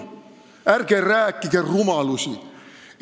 Ärge rääkige rumalusi!